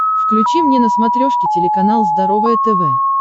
включи мне на смотрешке телеканал здоровое тв